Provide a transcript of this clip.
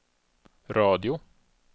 radio